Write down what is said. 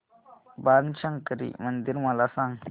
बाणशंकरी मंदिर मला सांग